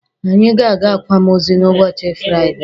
Anyị ga-aga akwamozu n'ụbọchị Firaide.